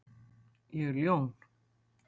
Ég er ljón.